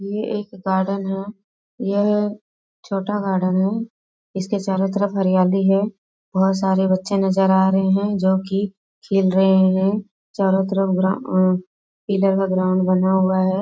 ये एक गार्डन है यह छोटा गार्डन है इसके चारों तरफ हरियाली है बहुत सारे बच्चे नजर आ रहे हैं जो कि खेल रहें हैं चारों तरफ ग्रा उ पीले का ग्राउंड बना हुआ है।